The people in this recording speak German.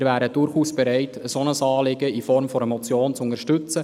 Wir wären durchaus bereit, ein solches Anliegen in Form einer Motion zu unterstützen.